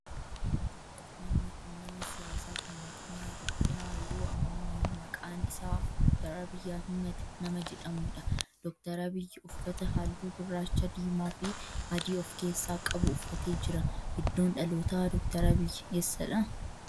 Namni kun nama siyaasaa fi mootummaa Itiyoophiyaa yeroo ammaa maqaan isaa Dr. Abiyyi Ahimeed nama jedhamudha. Dr. Abiyyi uffata halluu gurraacha, diimaa fi adii of keessaa qabu uffatee jira. Iddoon dhalootaa Dr. Abiyyi eessadha?